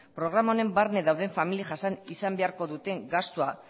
programa honen barne dauden familiek jasan izan beharko duten gastua